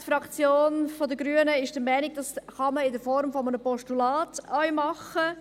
Die Fraktion der Grünen ist der Meinung, das könne man in Form eines Postulats auch machen.